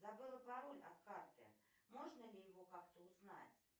забыла пароль от карты можно ли его как то узнать